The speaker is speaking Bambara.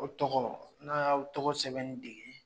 O tɔgɔ n'a y'aw tɔgɔ sɛbɛnni dege